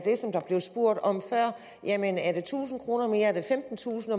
blev spurgt om før jamen er det tusind kroner mere er det femtentusind